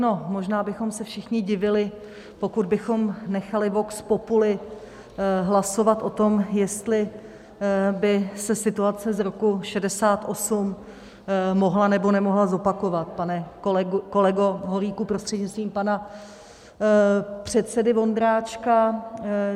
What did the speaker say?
No, možná bychom se všichni divili, pokud bychom nechali vox populi hlasovat o tom, jestli by se situace z roku 1968 mohla, nebo nemohla zopakovat, pane kolego Holíku, prostřednictvím pana předsedy Vondráčka.